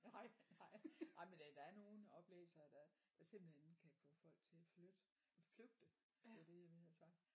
Nej nej nej men det der er nogle oplæsere der der simpelthen kan få folk til at flytte flygte det var det jeg ville have sagt